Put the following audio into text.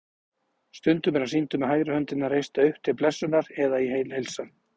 Stundum er hann sýndur með hægri höndina reista upp til blessunar eða í heilsan.